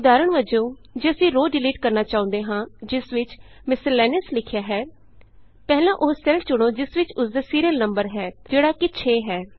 ਉਦਾਹਰਣ ਵਜੋਂ ਜੇ ਅਸੀਂ ਰੋਅ ਡਿਲੀਟ ਕਰਨਾ ਚਾਹੁੰਦੇ ਹਾਂ ਜਿਸ ਵਿਚ ਮਿਸਲੇਨਿਅਸ ਮਿਸਲੇਨੀਅਸ ਲਿਖਿਆ ਹੈ ਪਹਿਲਾਂ ਉਹ ਸੈੱਲ ਚੁਣੋ ਜਿਸ ਵਿਚ ਉਸਦਾ ਸੀਰੀਅਲ ਨੰਬਰ ਹੈ ਜਿਹੜਾ ਕਿ 6 ਹੈ